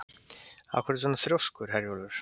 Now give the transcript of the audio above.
Af hverju ertu svona þrjóskur, Herjólfur?